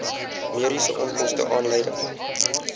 mediese onkoste aanleiding